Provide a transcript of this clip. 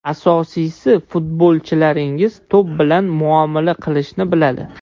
Asosiysi, futbolchilaringiz to‘p bilan muomala qilishni biladi.